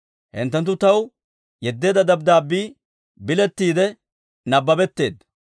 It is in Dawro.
Hinttenttu taw yeddeedda dabddaabbii bilettiide nabbabetteedda.